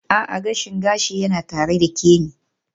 A'a, gashin gashi yana tare da Kemi.